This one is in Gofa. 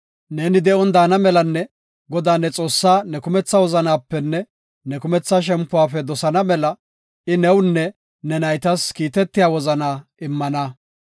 Ne de7on daana melanne Godaa, ne Xoossaa ne kumetha wozanapenne ne kumetha shempuwafe dosana mela I newunne ne naytas kiitetiya wozana immana.